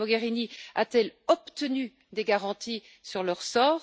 Mme Mogherini a t elle obtenu des garanties sur leur sort